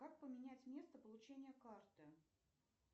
как поменять место получения карты